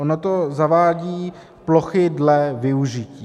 Ono to zavádí plochy dle využití.